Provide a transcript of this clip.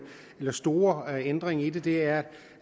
eller store ændring i det er